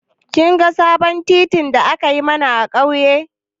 Kin ga sabon titin da aka yi mana a ƙauye?